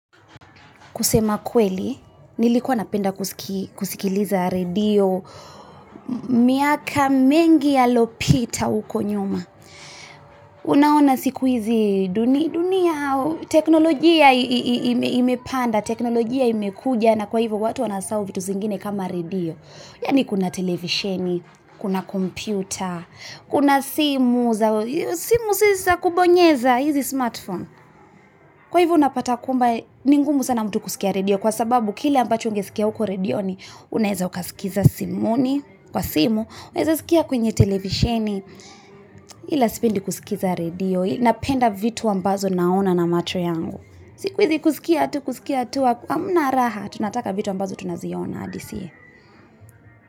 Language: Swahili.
Kusema kweli nilikuwa napenda kusikiliza redio miaka mingi alopita uko nyuma unaona siku hizi dunia teknologia imepanda teknologia imekuja na kwaivyo watu wanasau vitu zingine kama redio yaani kuna televisheni kuna computa kuna simu zakubonyeza hizi smartphone kwaivyo unapata kumba ningumu sana mtu kusikia redio kwa sababu kile ambacho ungesikia uko redioni unaeza ukasikiza simu kwa simu unaezaskia kwenye televisheni ila sipendi kusikiza redio napenda vitu ambazo naona na machoyangu sikuizi kusikia tu kusikia tu amuna raha tunataka vitu ambazo tunazioona adisiye.